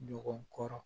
Ɲɔgɔn kɔrɔ